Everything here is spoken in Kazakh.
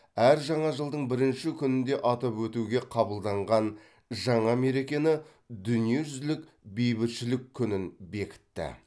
әр жаңа жылдың бірінші күнінде атап өтуге қабылданған жаңа мерекені дүниежүзілік бейбітшілік күнін бекітті